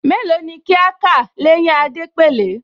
Mélòó ni kí á kà l’éyín Adépèlé?